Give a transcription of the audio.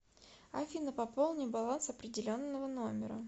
афина пополни баланс определенного номера